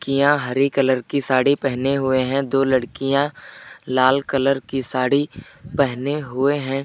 हरे colour की साड़ी पहने हुए हैं दो लड़कियां लाल कलर की साड़ी पहने हुए हैं।